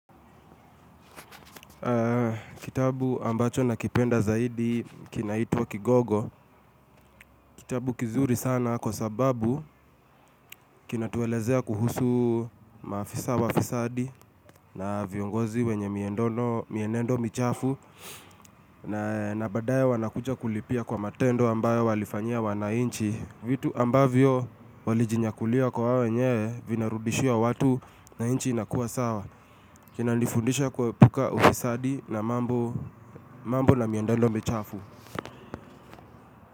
Kitabu ambacho nakipenda zaidi kinaitwa Kigogo. Kitabu kizuri sana kwa sababu kinatuelezea kuhusu maafisa wafisadi. Na viongozi wenye mienendo michafu na na badaye wanakuja kulipia kwa matendo ambayo walifanyia wananchi. Vitu ambavyo walijinyakulia kwa wao wenyewe vinarudishia watu na nchi inakuwa sawa kinanifundisha kuepuka ufisadi na mambo la mienendo michafu.